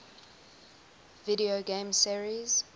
video game series